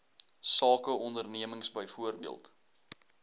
sake ondernemings byvoorbeeld